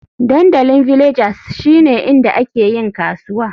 Dandalin Villagers shine inda ake yin kasuwa.